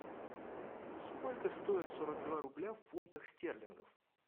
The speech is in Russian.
сколько стоит сорок два рубля в фунтах стерлингов